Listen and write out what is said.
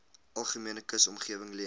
algemene kusomgewing leen